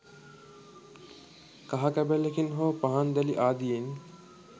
කහ කැබැල්ලකින් හෝ පහන් දැලි ආදියෙන්